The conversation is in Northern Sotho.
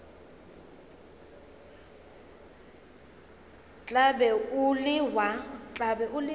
tla be o le wa